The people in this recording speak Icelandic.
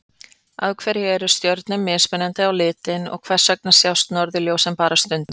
Af hverju eru stjörnur mismunandi á litinn og hvers vegna sjást norðurljósin bara stundum?